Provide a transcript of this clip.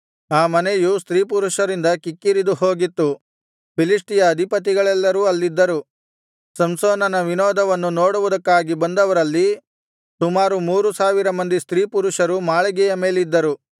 ಆ ಮನೆಯು ಸ್ತ್ರೀಪುರುಷರಿಂದ ಕಿಕ್ಕಿರಿದು ಹೋಗಿತ್ತು ಫಿಲಿಷ್ಟಿಯರ ಅಧಿಪತಿಗಳೆಲ್ಲರೂ ಅಲ್ಲಿದ್ದರು ಸಂಸೋನನ ವಿನೋದವನ್ನು ನೋಡುವುದಕ್ಕಾಗಿ ಬಂದವರಲ್ಲಿ ಸುಮಾರು ಮೂರು ಸಾವಿರ ಮಂದಿ ಸ್ತ್ರೀಪುರುಷರು ಮಾಳಿಗೆಯ ಮೇಲಿದ್ದರು